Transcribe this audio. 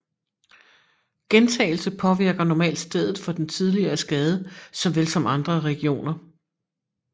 Gentagelse påvirker normalt stedet for den tidligere skade såvel som andre regioner